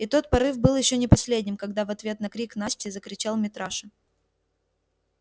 и тот порыв был ещё не последним когда в ответ на крик насти закричал митраша